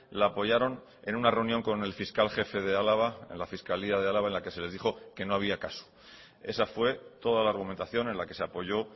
la apoyaron en una reunión con el fiscal jefe de álava en la fiscalía de álava en la que se les dijo que no había caso esa fue toda la argumentación en la que se apoyo